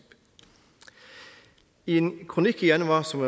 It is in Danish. i en kronik i januar som